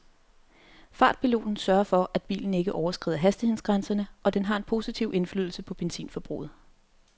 Fartpiloten sørger for at bilen ikke overskrider hastighedsgrænserne, og den har en positiv indflydelse på benzinforbruget.